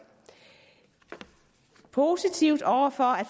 positive over for at